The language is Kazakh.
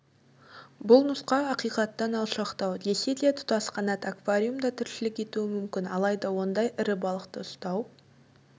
бұл нұсқа ақиқаттан алшақтау десе де тұтасқанат аквариумда тіршілік етуі мүмкін алайда ондай ірі балықты ұстау